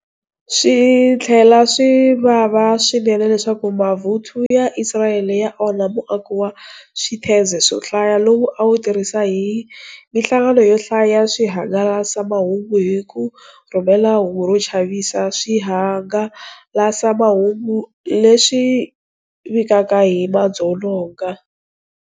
Swi tlhela swi vava swinene leswaku mavuthu ya Isirayele ya onhe muako wa switheze swo hlaya lowu a wu tirhisa hi mihlangano yo hlaya ya swihangalasamahungu, ku ri ku rhumela hungu ro chavisa swihangalasamahungu leswi vikaka hi madzolonga.